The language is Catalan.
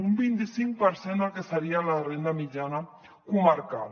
un vint i cinc per cent del que seria la renda mitjana comarcal